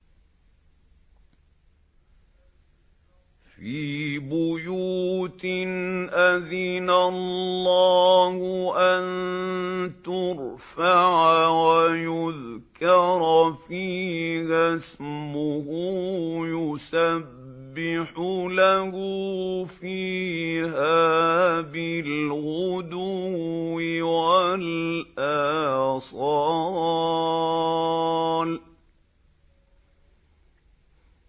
فِي بُيُوتٍ أَذِنَ اللَّهُ أَن تُرْفَعَ وَيُذْكَرَ فِيهَا اسْمُهُ يُسَبِّحُ لَهُ فِيهَا بِالْغُدُوِّ وَالْآصَالِ